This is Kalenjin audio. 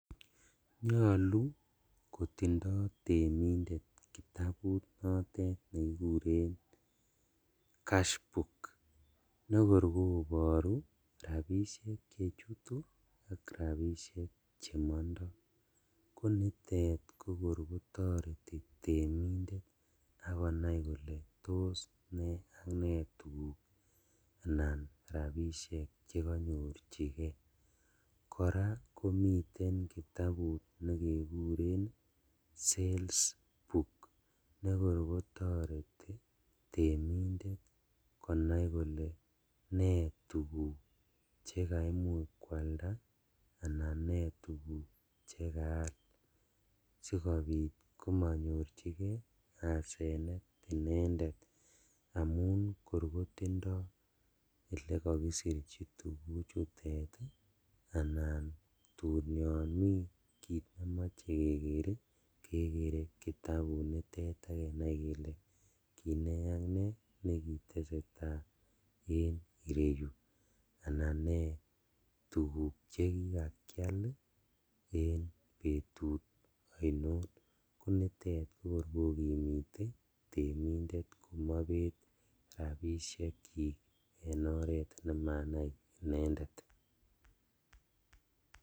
Nyolu kotindoi temindet kitabut notet nekikuren cas boo nekorom koboru ropishek chechutu ak ropisiek chemongtoi konitet ko kor kotoreti temindet akonai kole tos ne ak ne tukuk anan rapishek chekanyochike kora komiten kitabut nekekuren sales book nekorom kotoreti temindet konai kole ne tukuk chekiamuch koalda anan ne tukuk chekal sikobit komanyorchigei asenet inendet amun kor kotindoi lekakiserchi tukuk chutet anan tun yon mii kiit nemochei keker kekere kitabut nitet akenai kele ki ne ak ne neki tesetai eng ireyu anan ne tukuk chekikakial en betut ainon ko nitet kokor kokimite temindet komaibet rapishek chii eng oret nemanai inendet.